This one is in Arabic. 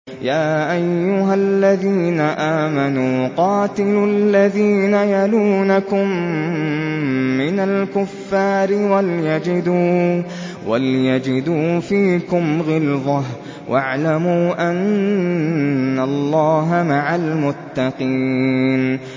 يَا أَيُّهَا الَّذِينَ آمَنُوا قَاتِلُوا الَّذِينَ يَلُونَكُم مِّنَ الْكُفَّارِ وَلْيَجِدُوا فِيكُمْ غِلْظَةً ۚ وَاعْلَمُوا أَنَّ اللَّهَ مَعَ الْمُتَّقِينَ